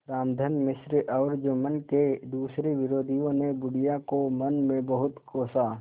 रामधन मिश्र और जुम्मन के दूसरे विरोधियों ने बुढ़िया को मन में बहुत कोसा